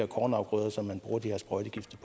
kornafgrøder som de her sprøjtegifte